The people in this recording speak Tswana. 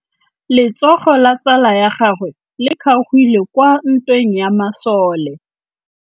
Letsôgô la tsala ya gagwe le kgaogile kwa ntweng ya masole.